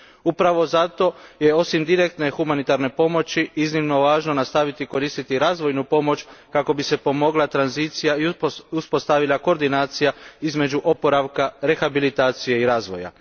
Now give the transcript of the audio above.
Upravi zato je osim direktne humanitarne pomoći iznimno važno nastaviti koristiti razvojnu pomoć kako bi se pomogla tranzicija i uspostavila koordinacija između oporavka, rehabilitacije i razvoja.